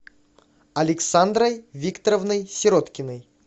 александрой викторовной сироткиной